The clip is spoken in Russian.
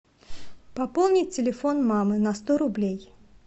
пополнить телефон мамы на сто рублей